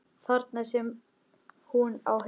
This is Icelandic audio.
Þar sem hún á heima.